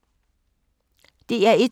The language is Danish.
DR1